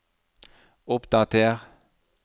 oppdater